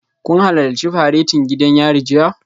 Kun halarci faretin gidan yari jiya?